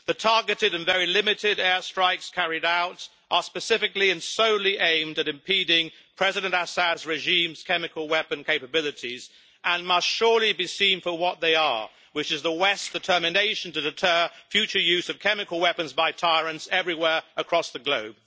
The targeted and very limited air strikes carried out are specifically and solely aimed at impeding President Assad's regime's chemical weapon capabilities and must surely be seen for what they are, which is the West's determination to deter future use of chemical weapons by tyrants everywhere across the globe.